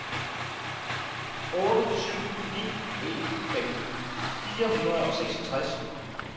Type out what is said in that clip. otte syv ni en femten fire hundrede og seksogtres